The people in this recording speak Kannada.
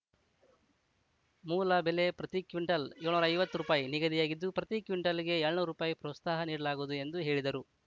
ಮೂಲ ಬೆಲೆ ಪ್ರತಿ ಕ್ವಿಂಟಲ್‌ ಏಳುನೂರ ಐವತ್ತು ರುಪೈ ನಿಗದಿಯಾಗಿದ್ದು ಪ್ರತಿ ಕ್ವಿಂಟಲ್‌ಗೆ ಏಳ್ ನ್ನೂರು ರುಪಾಯಿ ಪ್ರೋತ್ಸಾಹ ನೀಡಲಾಗುವುದು ಎಂದು ಹೇಳಿದರು